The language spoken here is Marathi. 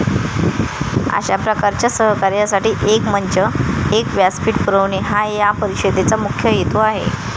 अशा प्रकारच्या सहकार्यासाठी एक मंच, एक व्यासपीठ पुरवणे हा या परिषदेचा मुख्य हेतू आहे.